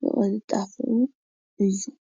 ብቅልጣፈኡ እዪ ።